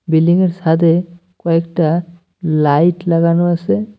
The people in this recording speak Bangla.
বিল্ডিং -এর সাদে কয়েকটা লাইট লাগানো আসে।